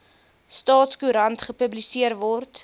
staatskoerant gepubliseer word